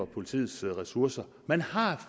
politiets ressourcer man har